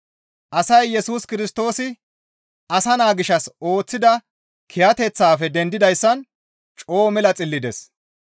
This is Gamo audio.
Asay Yesus Kirstoosi asa naa gishshas ooththida kiyateththafe dendidayssan coo mela xillides.